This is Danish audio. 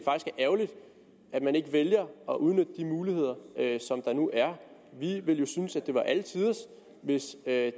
ærgerligt at man ikke vælger at udnytte de muligheder som der nu er vi ville synes at det var alle tiders hvis herre